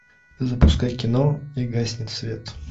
запускай кино и гаснет свет